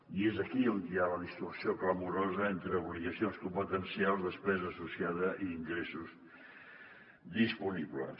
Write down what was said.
i és aquí on hi ha la distorsió clamorosa entre obligacions competencials despesa associada i ingressos disponibles